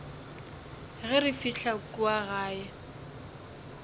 ge re fihla kua gae